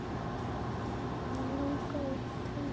Hann langaði í tölvu.